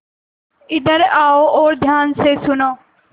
इधर आओ और ध्यान से सुनो